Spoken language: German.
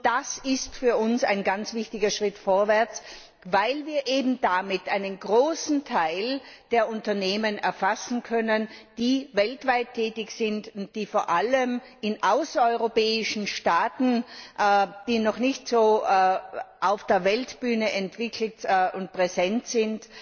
Das ist für uns ein ganz wichtiger Schritt vorwärts, weil wir eben damit einen großen Teil der Unternehmen erfassen können, die weltweit tätig sind und die vor allem in außereuropäischen Staaten, die noch nicht so auf der Weltbühne entwickelt und präsent sind,